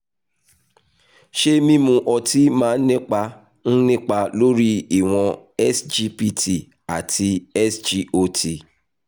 ṣé mímu ọtí máa ń nípa ń nípa lórí ìwọ̀n sgpt àti sgot?